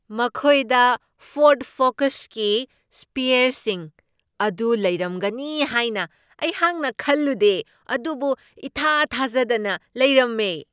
ꯃꯈꯣꯏꯗ ꯐꯣꯔ꯭ꯗ ꯐꯣꯀꯁꯀꯤ ꯁ꯭ꯄꯦꯌꯔꯁꯤꯡ ꯑꯗꯨ ꯂꯩꯔꯝꯒꯅꯤ ꯍꯥꯏꯅ ꯑꯩꯍꯥꯛꯅ ꯈꯜꯂꯨꯗꯦ ꯑꯗꯨꯕꯨ ꯏꯊꯥ ꯊꯥꯖꯗꯅ ꯂꯩꯔꯝꯃꯦ ꯫